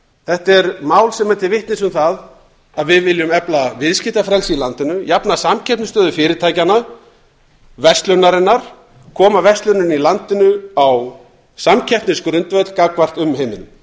þetta er mál sem er til vitnis um það að við viljum efla viðskiptafrelsi í landinu jafna samkeppnisstöðu fyrirtækjanna verslunarinnar koma versluninni í landinu á samkeppnisgrundvöll gagnvart umheiminum